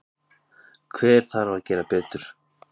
Hver þarf að gera betur?